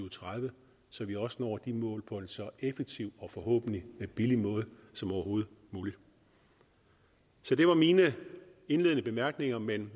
og tredive så vi også når de mål på en så effektiv og forhåbentlig billig måde som overhovedet muligt så det var mine indledende bemærkninger men